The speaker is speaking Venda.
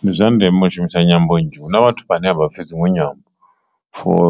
Ndi zwa ndeme u shumisa nyambo nzhi huna vhathu vhane a vha pfhi dzinwe nyambo for